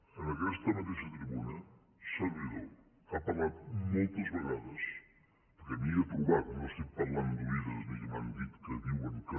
en aquesta mateixa tribuna un servidor ha parlat moltes vegades perquè m’hi he trobat no estic parlant d’oïdes ni que m’han dit que diuen que